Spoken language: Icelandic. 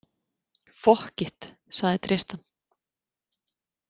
Fokkit, sagði Tristan.